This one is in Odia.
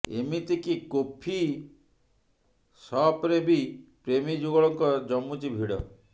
ଏମିତି କି କୋଫି ସପରେ ବି ପ୍ରେମୀ ଯୁଗଳଙ୍କ ଜମୁଛି ଭିଡ